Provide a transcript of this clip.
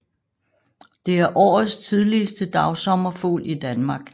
Det er årets tidligste dagsommerfugl i Danmark